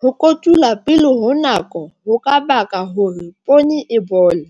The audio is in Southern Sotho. Ho kotula pele ho nako ho ka baka hore poone e bole.